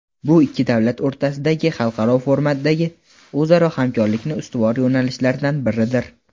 bu ikki davlat o‘rtasidagi xalqaro formatdagi o‘zaro hamkorlikning ustuvor yo‘nalishlaridan biridir.